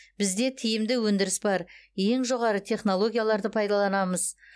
бізде тиімді өндіріс бар ең жоғары технологияларды пайдаланамыз